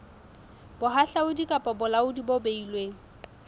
bohahlaudi kapa bolaodi bo beilweng